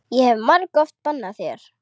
Ég hef margoft bannað þér.